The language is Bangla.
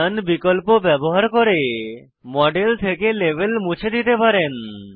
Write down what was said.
নোন বিকল্প ব্যবহার করে মডেল থেকে লেবেল মুছে দিতে পারেন